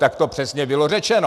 Tak to přesně bylo řečeno.